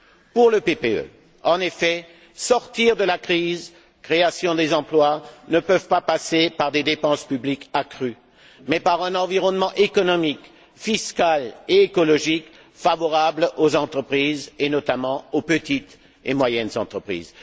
Pour le PPE, en effet, sortir de la crise et créer des emplois ne peuvent pas passer par des dépenses publiques accrues mais par un environnement économique, fiscal et écologique favorable aux entreprises, et notamment aux petites et moyennes entreprises.